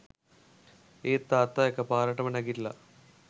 ඒත් තාත්තා එක පාරටම නැගිටලා